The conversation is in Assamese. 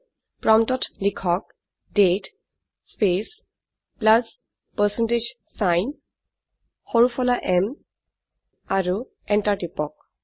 প্ৰম্পটত লিখক দাঁতে স্পেচ প্লাছ পাৰচেণ্টেজ ছাইন সৰু ফলা m আৰু এন্টাৰ টিপক